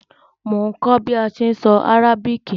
Mo n kó bi a se n so Arabic